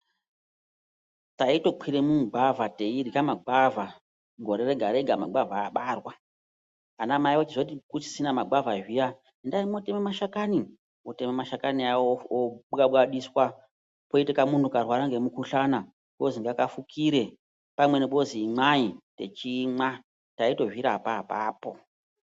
Taitokwire mumugwavha teirya magwavha gore rega-rega magwavha abarwa. Anamai ochizoti kusisina magwavha zviyani, endai mwotema mashakani. Otema mashakani aya, obwabwadiswa, poita kamunhu karwara ngemukhuhlana kozi ngakafukire. Pamweni pozi imwai, techimwa. Taitozvirapa apapo.